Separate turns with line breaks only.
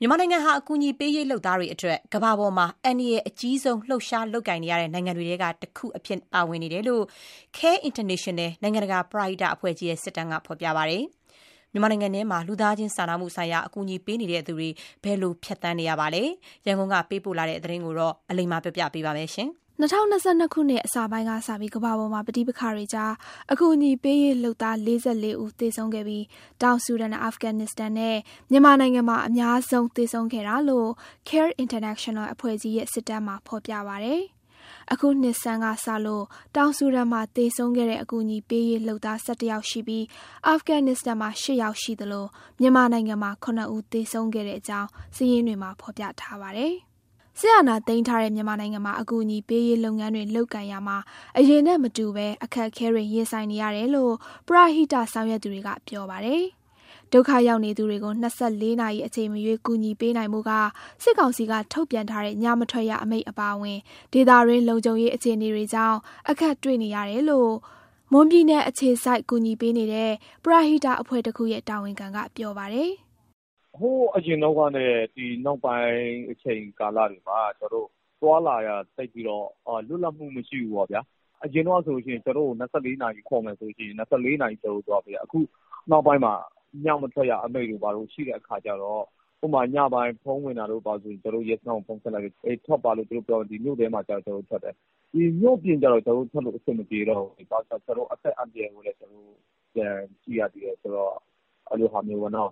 မြန်မာနိုင်ငံဟာ အကူအညီပေးရေးလုပ်သားတွေအတွက် ကမ္ဘာမှာအန္တရာယ်အကြီးဆုံး လှုပ်ရှားလုပ်ကိုင်နေရတဲ့ နိုင်ငံတွေထဲက တခုအဖြစ်ပါဝင်နေတယ်လို့ CARE International နိုင်ငံတကာပရဟိတအဖွဲ့ကြီးရဲ့ စစ်တမ်းမှာ ဖော်ပြထားပါတယ်။ မြန်မာနိုင်ငံထဲမှာ လူသားချင်းစာနာမှုဆိုင်ရာ အကူအညီပေးနေသူတွေ ဘယ်လိုဖြတ်သန်းနေရပါသလဲ။ ရန်ကုန်ကပေးပို့ထားတဲ့ ဒီသတင်းကို အလိမ္မာက တင်ပြပေးထားပါတယ်။ ၂၀၂၂ ခုနှစ်က အစောပိုင်းကစပြီး ကမ္ဘာပေါ်က ပဋိပက္ခတွေကြား အကူအညီပေးရေးလုပ်သား ၄၄ ယောက်သေဆုံးခဲ့ပြီး တောင်ဆူဒန်၊ အာဖဂန်နစ္စတန်နဲ့ မြန်မာနိုင်ငံမှာ အများဆုံး သေဆုံးခဲ့တာလို့ CARE International အဖွဲ့ ကြီးရဲ့ စစ်တမ်းမှာ ဖော်ပြပါတယ်။ အခုနှစ်ဆန်းကစလို့ တောင်ဆူဒန် မှာ သေဆုံးခဲ့တဲ့ အကူအညီပေးရေးလုပ်သား ၁၁ ယောက်ရှိပြီး အာဖဂန်နစ္စတန်မှာ ၈ ယောက်ရှိသလို မြန်မာနိုင်ငံမှာ ၇ ဦး သေဆုံးခဲ့အကြောင်း စာရင်းတွေမှာ ဖော်ပြထားပါတယ်။ စစ်အာဏာသိမ်းထားတဲ့ မြန်မာနိုင်ငံမှာ အကူအညီပေးရေးလုပ်ငန်းတွေလုပ်ကိုင်ရာမှာ အရင်နဲ့မတူဘဲ အခက်အခဲတွေ ရင်ဆိုင်နေရတယ်လို့ ပရဟိတဆောင်ရွက်သူတွေက ပြောပါတယ်။ ဒုက္ခရောက်နေသူတွေကို ၂၄ နာရီ အချိန်မရွေးကူညီပေးနိုင်ဖို့က စစ်ကောင်စီကထုတ်ပြန်ထားတဲ့ ညမထွက်ရအမိန့်အပါအဝင် ဒေသတွင်းလုံခြုံရေး အခြေအနေတွေကြောင့် အခက်တွေ့နေတယ်လို့ မွန်ပြည်နယ်အခြေစိုက် ကူညီပေးနေတဲ့ ပရဟိတအဖွဲ့တခုရဲ့ တာဝန်ခံက ပြောပါတယ်။ "ဟိ
ုးအရင်တုန်းကနဲ့ ဒီနောက်ပိုင်း အချိန်ကာလတွေမှာ ကျနော်တို့သွားလာရတာ သိပ်ပြီးတော့ လွတ်လပ်မှုမရှိဘူးပေါ့ဗျာ။ အရင်တုန်းကဆိုရင် ကျနော်တို့ကို ၂၄ နာရီခေါ်မယ်ဆိုလို့ရှိရင် ၂၄ နာရီပတ်လုံးသွားလို့ရတယ်။ အခုနောက်ပိုင်းမှာ ညမထွက်ရအမိန့်တို့ဘာတို့ ရှိတဲ့အခါကျတော့ ညပိုင်းဖုန်းဝင်လာရင် ကျနော်တို့က ရဲစခန်းကိုဖုန်းဆက်လိုက်လို့ ထွက်ပါလို့ သူတို့ပြောရင် မြို့ထဲမှာဆိုရင် ကျနော်တို့ထွက်တယ်။ မြို့ပြင်ကျတော့ ကျနော်တို့ထွက်လို့ အဆင်မပြေတော့ဘူး။ ဘာလို့ဆို ကျနော်တို့ အသက်အန္တရာယ်ကိုလည်း ပြန်ကြည့်ရသေးတယ်။ ကျနော်တို့လုပ်နေတယ်ဆိုတာလ